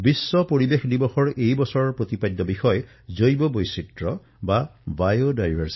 বিশ্ব পৰিবেশ দিৱসৰ এই বছৰৰ বিষয় হল জৈৱ বৈচিত্ৰতা